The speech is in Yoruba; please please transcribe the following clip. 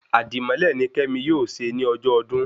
Àdímọ́lẹ̀ ni kemi yóò ṣe ní ọjọ ọdún